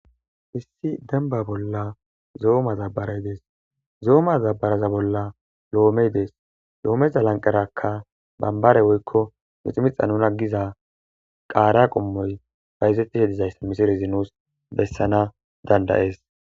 issi demba bolla zo7oma zabbaray dees zooma zabaraza bolla lo7omey dees lo7omeza lanqerakka bambare woykko miximixa nuna giza qaara qommoy bayzettishe dizayssa misirizi nuus bessana dandayees